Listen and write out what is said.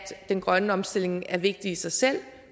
den grønne omstilling er vigtig i sig selv